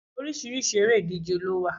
Oríṣiríṣi eré ìdíje ló wà